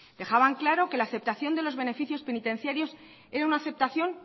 dejaban claro que la aceptación de los beneficios penitenciarios era una aceptación